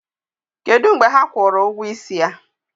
Kedu mgbe ha kwụrụ ụgwọ ịsị ya?